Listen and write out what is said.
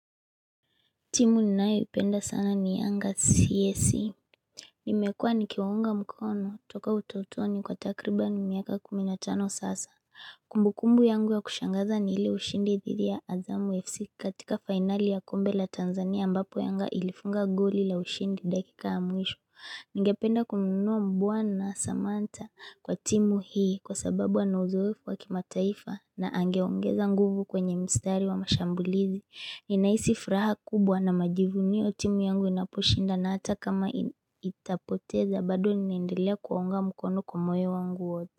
Timu ninayoipenda sana ni anga CSC. Nimekuwa nikiwaunga mkono toka utotoni kwa takriban miaka kumi na tano sasa. Kumbukumbu yangu ya kushangaza ni ile ushindi dhidi ya Azamu FC katika finali ya kombe la Tanzania ambapo yanga ilifunga goli la ushindi dakika ya mwisho. Ningependa kumnunua bwana samanta kwa timu hii kwa sababu anauzoefu wakimataifa na angeongeza nguvu kwenye mstari wa mashambulizi. Ninahisi furaha kubwa na majivunio timu yangu inaposhinda na hata kama itapoteza bado ninaendelea kuwaunga mkono kwa moyo wangu wote.